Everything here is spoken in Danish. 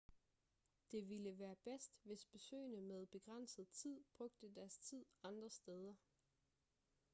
det ville være bedst hvis besøgende med begrænset tid brugte deres tid andre steder